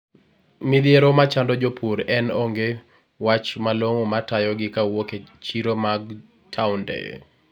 midhiro machando jopur en onge wach malong'o matayo gi kawuok chiro mag townde